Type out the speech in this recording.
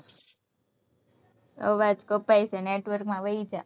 અવાજ કપાય છ network માં વઈ જા.